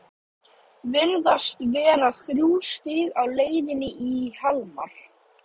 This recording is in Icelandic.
Virðast vera þrjú stig á leið í Hamar?